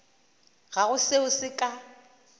ga go seo se ka